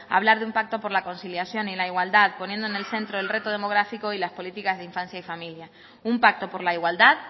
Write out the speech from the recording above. hablar de un pacto por la conciliación y la igualdad poniendo en el centro el reto demográfico y las políticas de infancia y familia un pacto por la igualdad